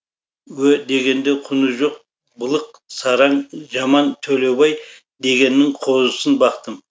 ө дегенде құны жоқ былық сараң жаман төлеубай дегеннің қозысын бақтым